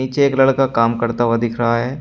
एक लड़का काम करता हुआ दिख रहा है।